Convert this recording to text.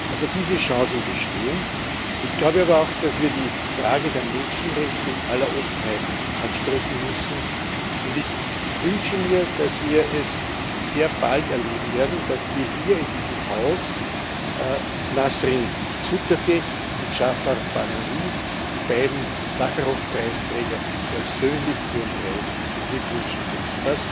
Also, diese Chancen bestehen. Ich glaube aber auch, dass wir die Frage der Menschenrechte in aller Offenheit ansprechen müssen, und ich wünsche mir, dass wir es sehr bald erleben werden, dass wir hier in diesem Haus Nasrin Sotoudeh und Jafar Panahi, die beiden Sacharow Preisträger, persönlich zu ihrem Preis beglückwünschen können.